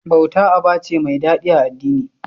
Bauta aba ce da mai daɗi a addini.